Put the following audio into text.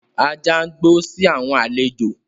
Ajá ń gbó si àwọn àlejò.